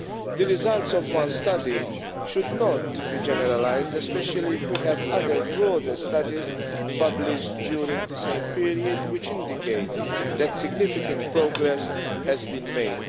The results of one study should not be generalised, especially if we have other, broader studies published during the same period which indicate that significant progress has been made.